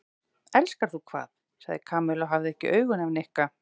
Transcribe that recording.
Elskar þú hvað? sagði Kamilla og hafði ekki augun af Nikka.